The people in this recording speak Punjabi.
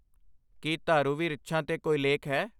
ਕੀ ਧਾਰੁਵੀ ਰਿੱਛਾਂ 'ਤੇ ਕੋਈ ਲੇਖ ਹੈ?